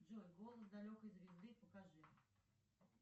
джой голос далекой звезды покажи